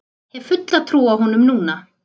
Hef fulla trú á honum núna.